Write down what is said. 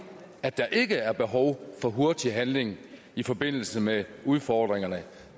at der ikke er behov for hurtig handling i forbindelse med udfordringerne